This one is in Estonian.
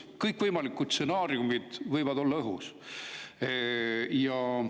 Kõikvõimalikud stsenaariumid võivad õhus olla.